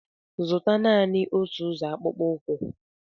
Zụta Naanị otu ụzọ akpụkpọ ụkwụ!